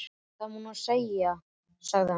Það má nú segja, sagði hann.